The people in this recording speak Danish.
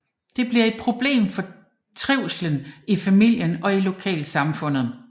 Det bliver et problem for trivslen i familien og i lokal samfundet